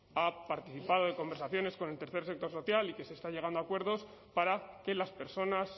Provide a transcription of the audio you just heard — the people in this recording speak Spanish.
ha participado en conversaciones con el tercer sector social y que se está llegando a acuerdos para que las personas